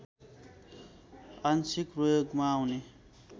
आंशिक प्रयोगमा आउने